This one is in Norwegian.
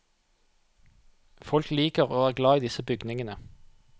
Folk liker og er glad i disse bygningene.